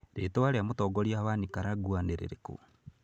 Rĩĩtwa rĩa mũtongoria wa Nicaragua nĩ rĩrĩkũ?